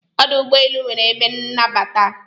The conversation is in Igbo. Ọdụ ụgbọelu nwere ebe nnabata.